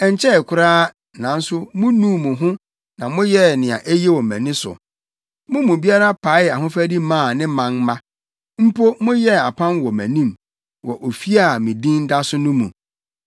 Ɛnkyɛe koraa, nanso munuu mo ho na moyɛɛ nea eye wɔ mʼani so: Mo mu biara paee ahofadi maa ne manmma. Mpo moyɛɛ apam wɔ mʼanim, wɔ ofi a me Din da so no mu.